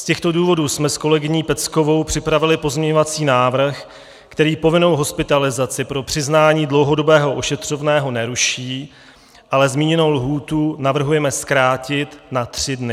Z těchto důvodů jsme s kolegyní Peckovou připravili pozměňovací návrh, který povinnou hospitalizaci pro přiznání dlouhodobého ošetřovného neruší, ale zmíněnou lhůtu navrhujeme zkrátit na tři dny.